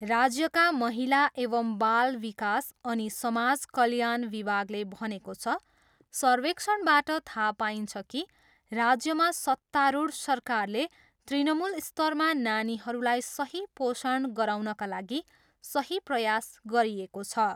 राज्यका महिला एवं बाल विकास अनि समाज कल्याण विभागले भनेको छ, सर्वेक्षणबाट थाहा पाइन्छ कि राज्यमा सत्तारूढ सरकारले तृणमूल स्तरमा नानीहरूलाई सही पोषण गराउनका लागि सही प्रयास गरिएको छ।